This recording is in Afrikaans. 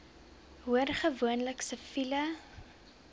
hoor gewoonlik siviele